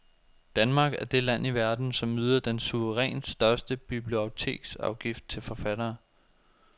Danmark er det land i verden, som yder den suverænt største biblioteksafgift til forfattere.